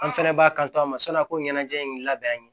An fɛnɛ b'a kanto a ma sɔn a ko ɲɛnajɛ in labɛn